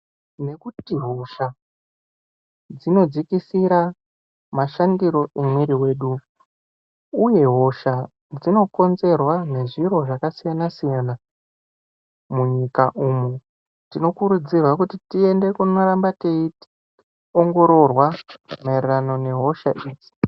Ngekuti hosha dzinodzikisira mashandire emwiri yedu uye hosha dzinokonzerwa ngezviro zvakasiyana-siyana munyika umu tinokurudzirwa kuti tiende kunoramba teiongororwa maererano nehosha idzi.